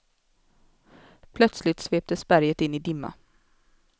Plötsligt sveptes berget in i dimma.